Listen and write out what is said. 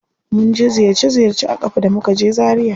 Mun je ziyarce ziyarce a ƙafa da muka je zaria.